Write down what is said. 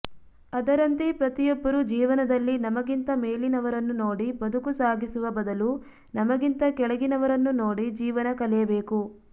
ಅದರಂತೆ ಪ್ರತಿಯೊಬ್ಬರು ಜೀವನದಲ್ಲಿ ನಮಗಿಂತ ಮೇಲಿನವರನ್ನು ನೋಡಿ ಬದುಕು ಸಾಗಿಸುವ ಬದಲು ನಮಗಿಂತ ಕೆಳಗಿನವರನ್ನು ನೋಡಿ ಜೀವನ ಕಲಿಯಬೇಕು